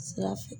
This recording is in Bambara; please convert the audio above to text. Sira fɛ